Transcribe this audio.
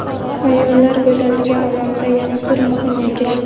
Ayollar go‘zalligi olamida yana bir muhim yangilik!.